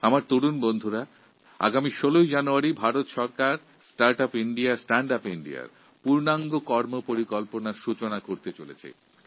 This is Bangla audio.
আমার যুবাবন্ধুরা ১৬ই জানুয়ারি ভারত সরকার start up India stand up Indiaপ্রকল্প চালু করতে চলেছে